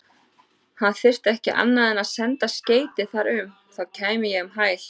Hann þyrfti ekki annað en senda skeyti þar um, þá kæmi ég um hæl.